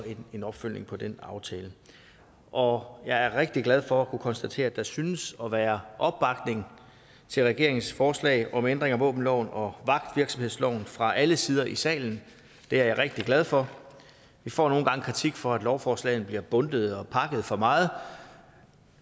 en opfølgning på den aftale og jeg er rigtig glad for at kunne konstatere at der synes at være opbakning til regeringens forslag om ændring af våbenloven og vagtvirksomhedsloven fra alle sider i salen det er jeg rigtig glad for vi får nogle gange kritik for at lovforslagene bliver bundtet og pakket for meget